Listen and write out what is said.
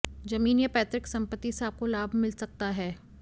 जमीन या पैतृक संपत्ति से आपको लाभ मिला सकता है